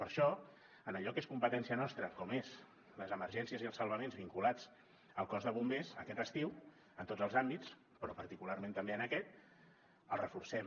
per això en allò que és competència nostra com són les emergències i els salvaments vinculats al cos de bombers aquest estiu en tots els àmbits però particularment també en aquest el reforcem